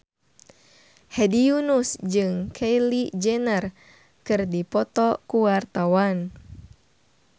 Hedi Yunus jeung Kylie Jenner keur dipoto ku wartawan